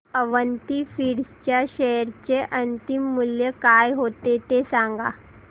Avanti Feeds च्या share चे अंतिम मूल्य काय होते ते सांगा